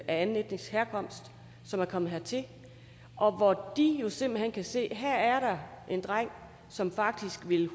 anden etnisk herkomst som er kommet hertil og hvor de jo simpelt hen kan se at her er der en dreng som faktisk